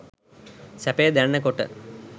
සැපය දැනෙන කොට